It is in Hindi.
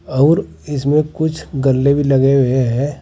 और इसमें कुछ गल्ले भी लगे हुए है।